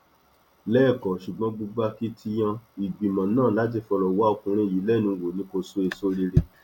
lẹkọọ ṣùgbọn gbogbo akitiyan ìgbìmọ náà láti fọrọ wá ọkùnrin yìí lẹnu wò ni wò ni kò so èso rere